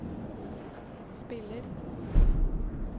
spiller